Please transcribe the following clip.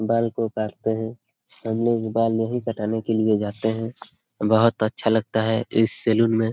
बाल को काटते है हम लोग बाल यही कटाने के लिए जाते है बहुत अच्छा लगता है इस सैलून में।